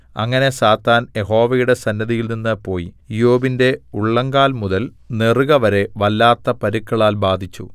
അങ്ങനെ സാത്താൻ യഹോവയുടെ സന്നിധിയിൽനിന്ന് പോയി ഇയ്യോബിന്റെ ഉള്ളങ്കാൽമുതൽ നെറുകവരെ വല്ലാത്ത പരുക്കളാൽ ബാധിച്ചു